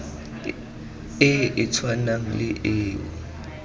e e tshwanang le eo